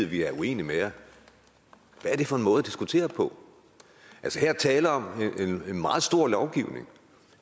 vi er uenige med jer hvad er det for en måde at diskutere på her er tale om en meget stor lovgivning